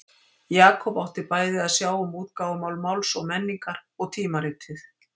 Jakob átti bæði að sjá um útgáfumál Máls og menningar og tímaritið.